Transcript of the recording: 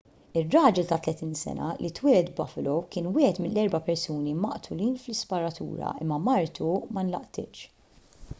ir-raġel ta' 30 sena li twieled buffalo kien wieħed mill-erba' persuni maqtulin fl-isparatura imma martu ma nlaqtitx